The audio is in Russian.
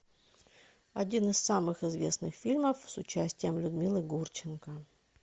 один из самых известных фильмов с участием людмилы гурченко